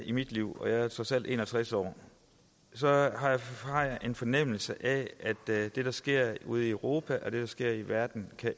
i mit liv og jeg er trods alt en og tres år har jeg en fornemmelse af at det der sker ude i europa og det der sker i verden kan